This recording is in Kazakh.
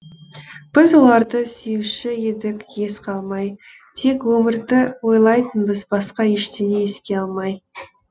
біз оларды сүюші едік ес қалмай тек өмірді ойлайтынбыз басқа ештеңе еске алмай